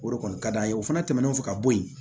O de kɔni ka d'an ye o fana tɛmɛnen kɔfɛ ka bɔ yen